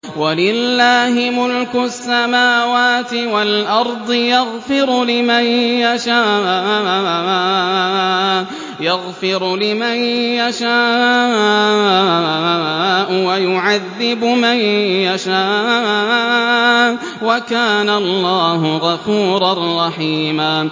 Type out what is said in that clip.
وَلِلَّهِ مُلْكُ السَّمَاوَاتِ وَالْأَرْضِ ۚ يَغْفِرُ لِمَن يَشَاءُ وَيُعَذِّبُ مَن يَشَاءُ ۚ وَكَانَ اللَّهُ غَفُورًا رَّحِيمًا